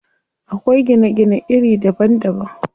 Akwai gine gine iri daban daban.